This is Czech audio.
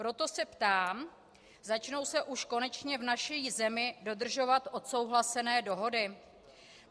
Proto se ptám: Začnou se už konečně v naší zemi dodržovat odsouhlasené dohody?